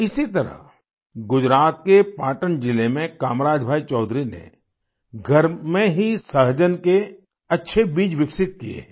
इसी तरह गुजरात के पाटन जिले में कामराज भाई चौधरी ने घर में ही सहजन के अच्छे बीज विकसित किए हैं